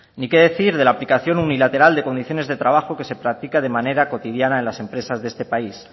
y qué decir de la aplicación unilateral de condiciones de trabajo que se practica de manera cotidiana en las empresas de este país